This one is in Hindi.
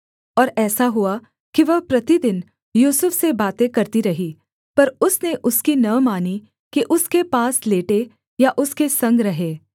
और ऐसा हुआ कि वह प्रतिदिन यूसुफ से बातें करती रही पर उसने उसकी न मानी कि उसके पास लेटे या उसके संग रहे